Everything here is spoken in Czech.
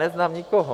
Neznám nikoho.